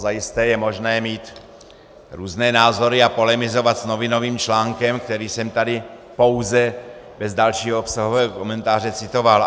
Zajisté je možné mít různé názory a polemizovat s novinovým článkem, který jsem tady pouze bez dalšího obsahového komentáře citoval.